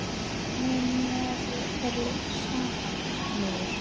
Minn hnefi er sannur.